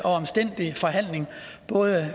og omstændelig forhandling både